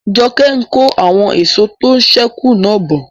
Joke n kó àwọn èso tó sẹ́ kù náà bọ̀